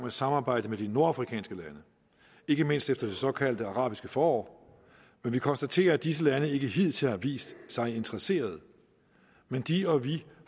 at samarbejde med de nordafrikanske lande ikke mindst efter det såkaldt arabiske forår men vi konstaterer at disse lande ikke hidtil har vist sig interesserede men de og vi